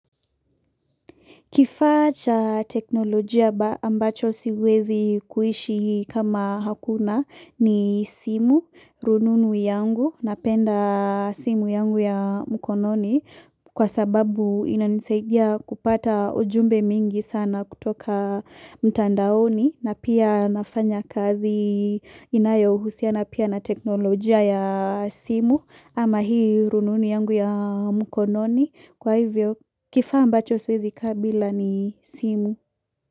Kifaa cha teknolojia ambacho siwezi kuishi kama hakuna ni simu, rununu yangu, napenda simu yangu ya mkononi kwa sababu inanisaidia kupata ujumbe mingi sana kutoka mtandaoni na pia nafanya kazi inayohusiana pia na teknolojia ya simu ama hii rununu yangu ya mkononi. Kwa hivyo kifaa ambacho siwezi ka bila ni simu.